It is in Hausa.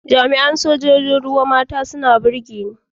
Jami’an Sojojin ruwa mata suna burge ni.